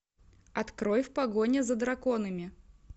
открой в погоне за драконами